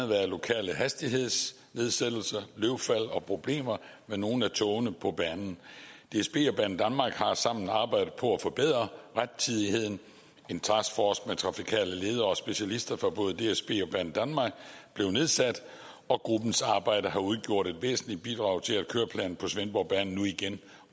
været lokale hastighedsnedsættelser løvfald og problemer med nogle af togene på banen dsb og banedanmark har sammen arbejdet på at forbedre rettidigheden en taskforce med trafikale ledere og specialister fra både dsb og banedanmark blev nedsat og gruppens arbejde har udgjort et væsentligt bidrag til at køreplanen på svendborgbanen nu igen